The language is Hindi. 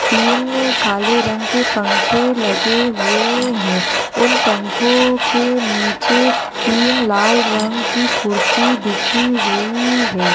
तीन काले रंग के पंखे लगे हुए हैं उन पंखो के नीचे तीन लाल रंग की कुर्सी बिछी हुई है।